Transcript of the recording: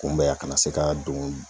Kunbɛ a kana se ka don